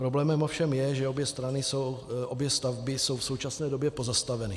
Problémem ovšem je, že obě stavby jsou v současné době pozastaveny.